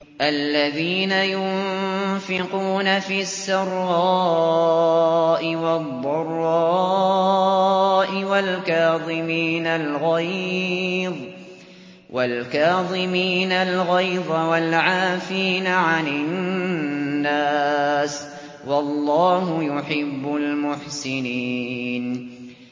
الَّذِينَ يُنفِقُونَ فِي السَّرَّاءِ وَالضَّرَّاءِ وَالْكَاظِمِينَ الْغَيْظَ وَالْعَافِينَ عَنِ النَّاسِ ۗ وَاللَّهُ يُحِبُّ الْمُحْسِنِينَ